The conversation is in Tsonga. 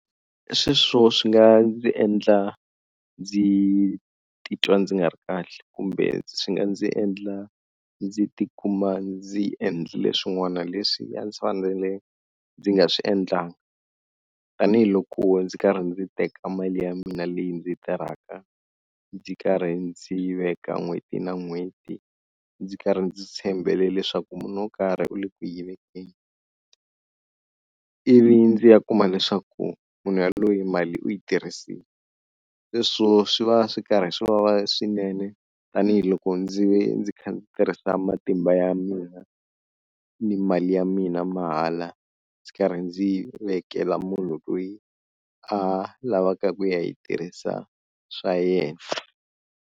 Sweswo swi nga ndzi endla ndzi titwa ndzi nga ri kahle kumbe swi nga ndzi endla ndzi ti kuma ndzi endlile swin'wana leswi a ndzi fanele ndzi nga swi endlangi, tanihiloko ndzi karhi ndzi teka mali ya mina leyi ndzi tirhaka ndzi karhi ndzi veka n'hweti na n'hweti ndzi karhi ndzi tshembele leswaku munhu wo karhi u le ku yi vekeni, ivi ndzi ya kuma leswaku munhu yaloye mali u yi tirhisini hileswo swi va swi karhi swi vava swinene tanihiloko ndzi ve ndzi kha ndzi tirhisa matimba ya mina ni mali ya mina mahala ndzi karhi ndzi yi vekela munhu loyi a lavaka ku ya yi tirhisa swa yena.